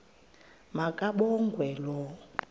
ma kabongwe low